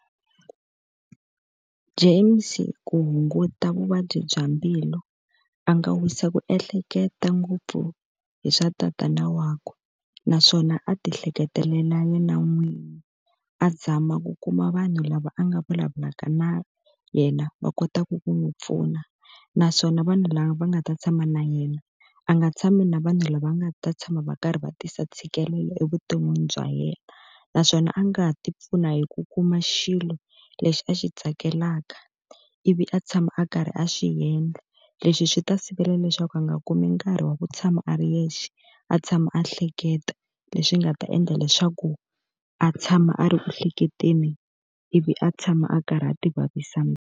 James ku hunguta vuvabyi bya mbilu a nga wisa ku ehleketa ngopfu hi swa tatana wakwe naswona a ti hleketelela yena n'wini. A zama ku kuma vanhu lava a nga vulavulaka na yena va kotaka ku n'wi pfuna, naswona vanhu lava va nga ta tshama na yena a nga tshami na vanhu lava nga ta tshama va karhi va tisa ntshikelelo evuton'wini bya yena. Naswona a nga ha ti pfuna hi ku kuma xilo lexi a xi tsakelaka, ivi a tshama a karhi a xi endla. Leswi swi ta sivela leswaku a nga kumi nkarhi wa ku tshama a ri yexe, a tshama a hleketa leswi nga ta endla leswaku a tshama a ri ku hleketeni, ivi a tshama a karhi a ti vavisa .